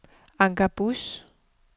Anker Buus